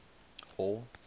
hall